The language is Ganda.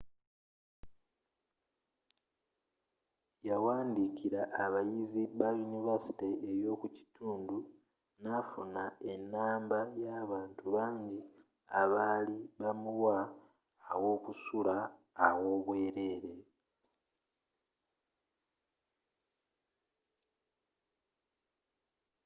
yawandiikira abayizi bayunivasite ey'omukitundu nafuna ennamba y'abantu bangi abaali bamuwa awokusula aw'obwerere